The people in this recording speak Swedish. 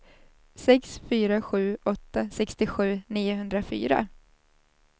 sex fyra sju åtta sextiosju niohundrafyra